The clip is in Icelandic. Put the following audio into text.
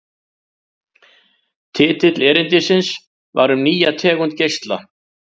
Titill erindisins var Um nýja tegund geisla.